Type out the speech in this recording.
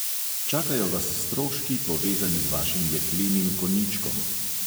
Čakajo vas stroški, povezani z vašim jeklenim konjičkom.